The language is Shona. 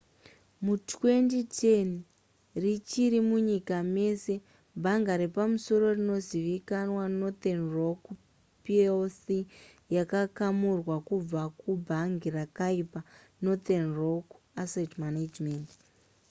mu2010 richiri munyika mese bhanga repamusoro rinozivikanwa northern rock plc yakakamurwa kubva ku bhangi rakaipa northern rock asset management